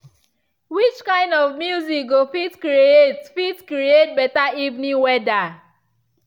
which kind of music go fit create fit create beta evening weather.